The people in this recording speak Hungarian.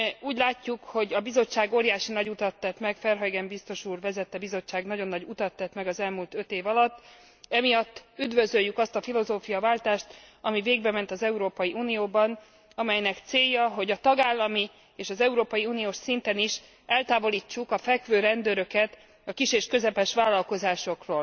Úgy látjuk, hogy a Verhaugen biztos úr vezette Bizottság nagyon nagy utat tett meg az elmúlt öt év alatt, emiatt üdvözöljük azt a filozófiaváltást, ami végbement az Európai Unióban, amelynek célja, hogy a tagállami és az európai uniós szinten is eltávolítsuk a fekvőrendőröket a kis és közepes vállalkozások